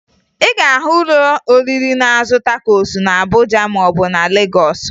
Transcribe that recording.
Ị ga-ahụ ụlọ oriri na-azụ takosu na Abuja maọbụ na Legọọsụ